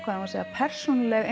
persónuleg